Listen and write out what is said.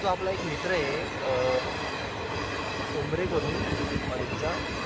हा जो आपला एक मित्र ए अं ठोंबरे करून college चा